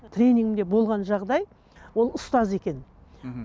тренингімде болған жағдай ол ұстаз екен мхм